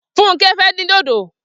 Funmi fè din dódó